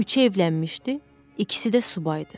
Üçü evlənmişdi, ikisi də subaydı.